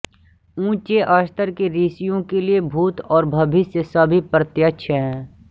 ऊँचे स्तर के ऋषियों के लिए भूत और भविष्य सभी प्रत्यक्ष हैं